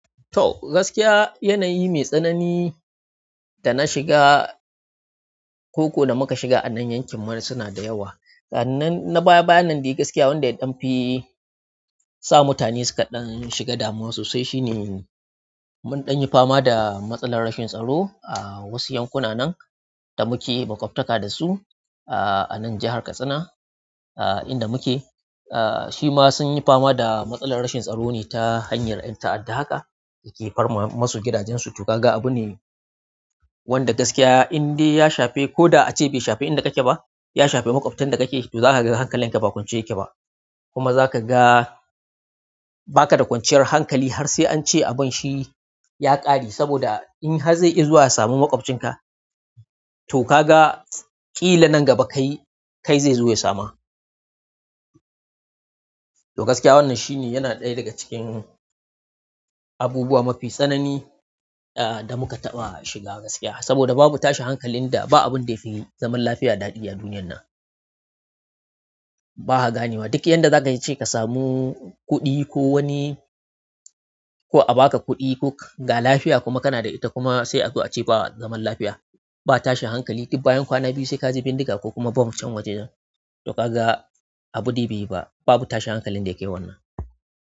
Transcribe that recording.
Toh gaskiya, yanayi mai tsanyi da na shiga ko kuwa da muka shiga a nan yankin mu suna da yawa annan na baya bayanan da gaskiya wanda ya ɗanfi sa mutane suka ɗanshiga damuwa sosai shine mun ɗan yi fama da matsalar rashin tsaro a wasu yankuna nan da muke maƙwabtaka da su a nan jahar Katsina, ah, inda muke. Ah, shi ma sun yi fama da matsalar rashin tsaro ne ta hanyar ƴan ta'adda haka da ke farma masu gidajensu. To gaga abu ne wanda gaskiya indai ya shafe ko da ace bai shafe inda ka ke ba, ya shafe maƙwabtan da ka ke. To zaka ga hankalin ka ba kwance yake ba kuma zaka ga ba ka da kwanciyar hankali har sai an ce abun shi ya ƙare. Saboda in har zai izuwa ya sami maƙwabcinka, to kaga ƙila nan gaba kai, kai zai zo ya sama. To gaskiya wannan shi ne yana ɗaya daga cikin abubuwa mafi tsanani, ah, da muka taɓa shiga gaskiya. Saboda babu tashin hankalin da ba abun da yake zaman lafiya daɗi a duniyan nan. Ba ha ganewa. Duk yanda za ka ce ka samu kuɗi ko wani, ko a ba ka kuɗi ko ka ga lafiya kuma kana da ita kuma sai a zo a ce ba zaman lafiya. Ba tashin hankali duk bayan kwana biyu sai ka ji bindiga ko kuma bom can wajejan. To kaga abu dai bai yi ba. Babu tashin hankalin da yake wannan.